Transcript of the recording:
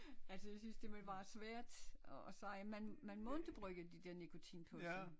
Altså jeg synes det er vel meget svært at sige man man må ikke bruge de der nikotinposer